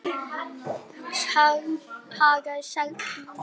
Hagaði seglum eftir vindi.